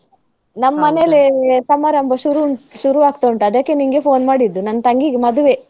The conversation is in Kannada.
ನಮ್ಮನೆಲ್ಲೆ ಸಮಾರಂಭ ಶುರು ಶುರು ಆಗ್ತಾ ಉಂಟು ಅದಕ್ಕೆ ನಿಂಗೆ phone ಮಾಡಿದ್ದು ನನ್ ತಂಗಿಗ್ ಮದುವೆ.